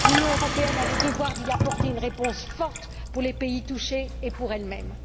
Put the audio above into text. L'Union européenne a le devoir d'y apporter une réponse forte pour les pays touchés et pour elle même.